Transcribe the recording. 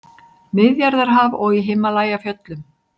Miðjarðarhaf og í Himalajafjöllum.